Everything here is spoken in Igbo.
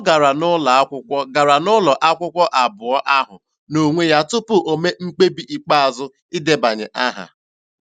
Ọ gara n'ụlọ akwụkwọ gara n'ụlọ akwụkwọ abụọ ahụ n'onwe ya tupu o mee mkpebi ikpeazụ idebanye aha.